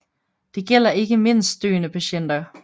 Det gælder ikke mindst døende patienter